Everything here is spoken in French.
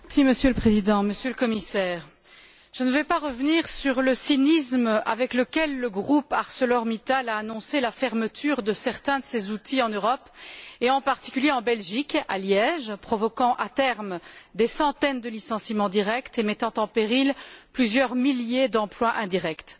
Monsieur le Président, Monsieur le commissaire, je ne vais pas revenir sur le cynisme avec lequel le groupe ArcelorMittal a annoncé la fermeture de certains de ses outils en Europe, et en particulier en Belgique, à Liège, provoquant à terme des centaines de licenciements directs et mettant en péril plusieurs milliers d'emplois indirects.